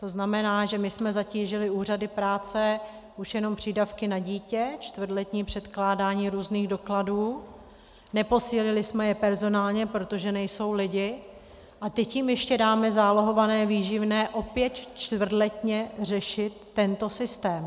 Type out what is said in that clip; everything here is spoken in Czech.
To znamená, že my jsme zatížili úřady práce už jenom přídavky na dítě - čtvrtletní předkládání různých dokladů -, neposílili jsme je personálně, protože nejsou lidi, a teď jim ještě dáme zálohované výživné opět čtvrtletně řešit, tento systém.